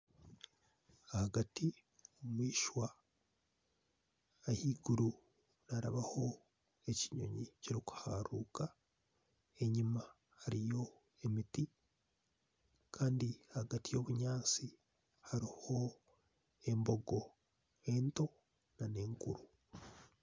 Ahagati yishwa ahaiguru harabaaho ekinyonyi kirikuharuruka enyuma hariyo emiti Kandi ahagati y'obunyatsi hariho embogo ento nana enkuru